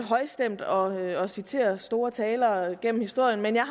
højstemt og og citere store talere gennem historien at jeg